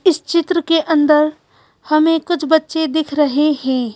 इस चित्र के अंदर हमें कुछ बच्चे दिख रहे हैं।